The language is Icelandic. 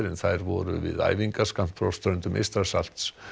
en þær voru við æfingar skammt frá ströndum Eystrasalts